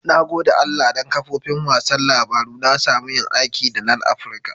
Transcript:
Na gode Allah dan kafofin wasan labaru na samu yin aiki da LANaprica.